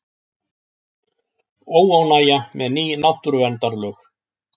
Óánægja með ný náttúruverndarlög